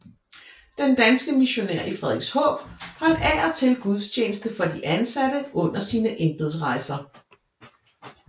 Den danske missionær i Frederikshåb holdt af og til gudstjeneste for de ansatte under sine embedsrejser